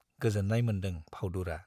गोजोन्नाय मोन्दों फाउदुरा।